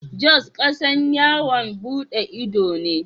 Jos kasan yawon bude ido ne.